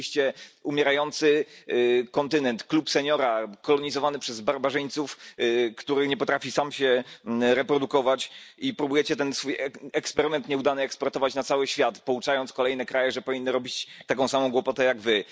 Stworzyliście umierający kontynent, klub seniora, kolonizowany przez barbarzyńców, który nie potrafi sam się reprodukować i próbujecie ten swój nieudany eksperyment eksportować na cały świat, pouczając kolejne kraje, że powinny robić taką samą głupotę jak wy.